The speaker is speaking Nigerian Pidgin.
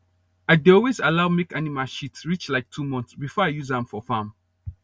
i dey always allow make animal shit reach like two month before i use am farm